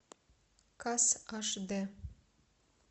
касс аш дэ